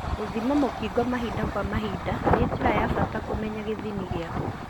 Gũthima mũkingo mahinda kwa mahinda nĩ njĩra ya bata kũmenya gĩthimi gĩaku.